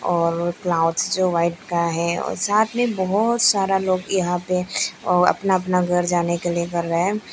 और क्लॉथ जो वाइट का है और साथ में बहोत सारा लोग यहां पे और अपना अपना घर जाने के लिए कर रहे है।